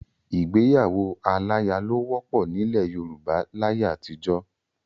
Ìgbéyàwó aláya ló wọ́pọ̀ nílẹ̀ Yorùbá láyé àtijọ́.